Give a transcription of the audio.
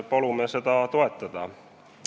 Palume seda toetada.